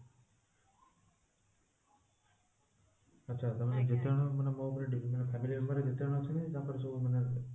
ଆଚ୍ଛା ତା ମାନେ ଯେତେ ଜଣ ମାନେ ମୋ ଉପରେ ମାନେ family ରେ ଯେତେ ଜଣ ଅଛନ୍ତି ମାନେ